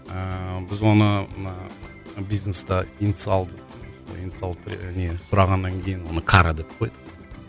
ыыы біз оны мына бизнеста инициал инициалды не сұрағаннан кейін кара деп қойдық